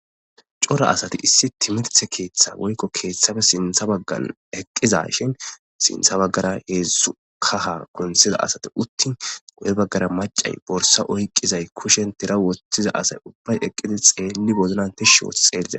cora asati issi timirthe keeththa woykko keeththabe sintha baggan eqqiza shin sintha baggara heedzszu kaha gontsiza asati uttin go7e baggara macay borsa oyqqizay kushen tira wotthiza asay ubbay eqqidi xeelli boznanti shoo xeeiza